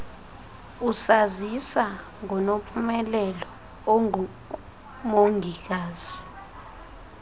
usazisa ngonompumelelo ongumongikazi